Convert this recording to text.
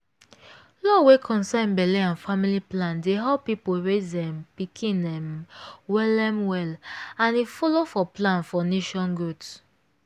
law wey concern belle and family matter dey help people raise um pikin um well um well and e follow for plan for nation growth